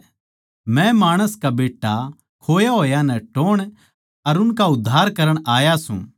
मै माणस का बेट्टा खोए होया नै टोह्ण अर उनका उद्धार करण आया सूं